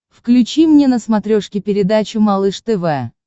включи мне на смотрешке передачу малыш тв